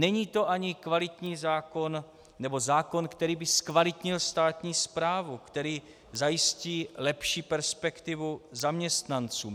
Není to ani kvalitní zákon nebo zákon, který by zkvalitnil státní správu, který zajistí lepší perspektivu zaměstnancům.